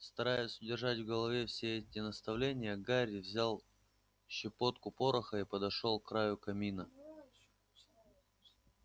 стараясь удержать в голове все эти наставления гарри взял щепотку пороха и подошёл к краю камина